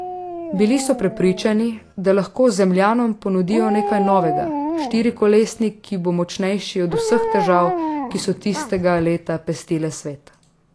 Bili so prepričani, da lahko zemljanom ponudijo nekaj novega, štirikolesnik, ki bo močnejši od vseh težav, ki so tistega leta pestile svet.